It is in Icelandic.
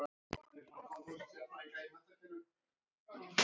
Þó ekki um of segir